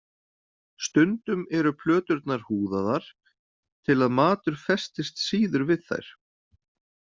Stundum eru plöturnar húðaðar til að matur festist síður við þær.